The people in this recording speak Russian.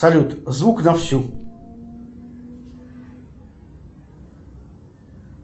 салют звук на всю